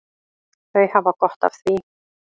Þau hafa gott af því.